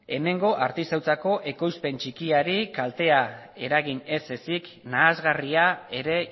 hemengo artisautzako ekoizpen txikiari kaltea eragin ez ezik nahasgarria ere